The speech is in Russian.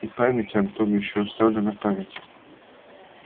и память антон ещё оставлена память